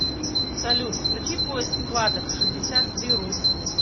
салют включи поиск кладов шестьдесят три рус